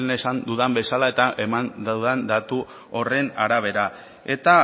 lehen esan dudan bezala eta eman dudan datu horren arabera eta